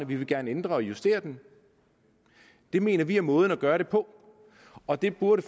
vi vil gerne ændre og justere den det mener vi er måden at gøre det på og det burde